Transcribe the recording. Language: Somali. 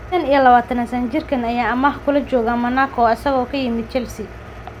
25-sano jirkaan ayaa amaah kula jooga Monaco isagoo ka yimid Chelsea.